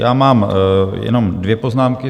Já mám jenom dvě poznámky.